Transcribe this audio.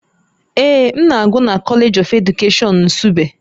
Ee, m na-agụ na College of Education Nsugbe